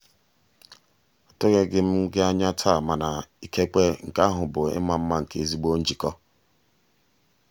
atụghị m gị anya taa mana ikekwe nke ahụ bụ ịma mma nke ezigbo njikọ.